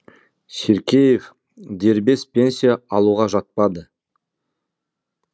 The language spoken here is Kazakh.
ширкеев дербес пенсия алуға жатпады